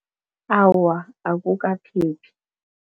Awa, akukaphephi.